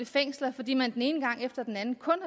fængsler fordi man den ene gang efter den anden kun